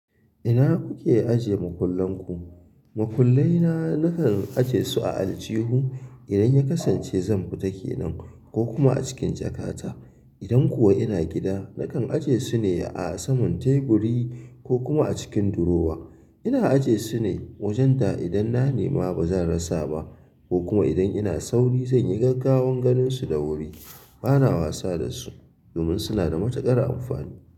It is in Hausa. Ina kuke ajiye mukullan ku? Makullai na nakan aje su a aljihu idan ya kasance zan fita kenan ko kuma a cikin jakata. Idan kuwa ina gida, nakan aje su ne a saman teburi ko kuma a cikin durowa. Ina aje su ne wajen da idan na nema ba zan rasa ba ko kuma idan ina sauri zan yi gaggawan ganin su da wuri. Bana wasa da su domin suna da matukar amfani.